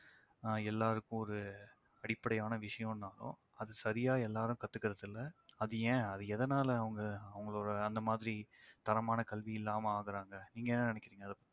ஆஹ் எல்லாருக்கும் ஒரு அடிப்படையான விஷயம்னாலும் அது சரியா எல்லாரும் கத்துகிறதில்ல அது ஏன் அது எதனால அவங்க அவங்களோட அந்த மாதிரி தரமான கல்வி இல்லாம ஆகுறாங்க நீங்க என்ன நினைக்கிறீங்க அதை பத்தி